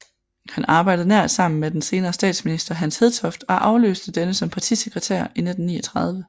Han arbejdede nært sammen med den senere statsminister Hans Hedtoft og afløste denne som partisekretær i 1939